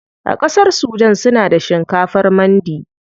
A ƙasar sudan suna da shinkafar mandi.